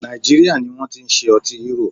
Nàìjíríà ní wọ́n ti ṣe ọtí Hero.